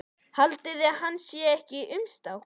Haldiði að þetta sé ekkert umstang?